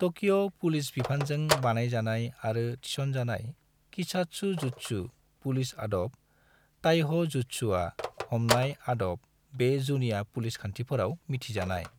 तकिअ police बिफानजों बानायजानाय आरो थिसनजानाय कीसात्सुजुत्सु (पुलिस आदब) ताइह' जुत्सुआ (हमनाय आदब) बे जुनिया पुलिस खान्थिफोराव मिथिजानाय।